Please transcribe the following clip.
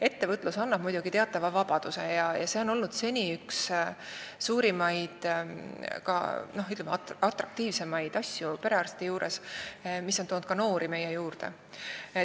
Ettevõtlus annab muidugi teatava vabaduse ja see on olnud seni perearsti töö juures üks, ütleme, atraktiivsemaid asju, mis on toonud ka noori meile juurde.